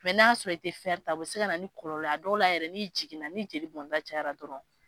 na sɔrɔ i tɛ ta o bɛ se ka na ni kɔlɔlɔ ye a dɔw la yɛrɛ ni jigin na ni jeli bɔn ta cayara dɔrɔn.